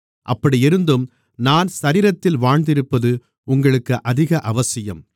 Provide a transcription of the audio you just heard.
அப்படியிருந்தும் நான் சரீரத்தில் வாழ்ந்திருப்பது உங்களுக்கு அதிக அவசியம்